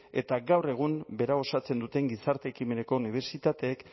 eta gaur egun berau osatzen duten gizarte ekimeneko unibertsitateek